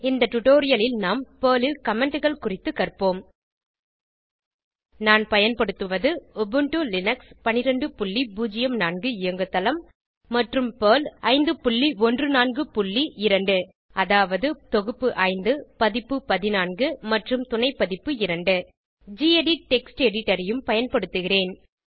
இந்த டுடோரியலில் நாம் பெர்ல் ல் Commentகள் குறித்த கற்போம் நான் பயன்படுத்துவது உபுண்டு லினக்ஸ் 1204 இயங்குதளம் மற்றும் பெர்ல் 5142 அதாவது பெர்ல் தொகுப்பு 5 பதிப்பு 14 மற்றும் துணைப்பதிப்பு 2 கெடிட் டெக்ஸ்ட் எடிட்டர் ஐயும் பயன்படுத்துகிறேன்